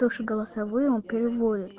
то что голосовые он переводит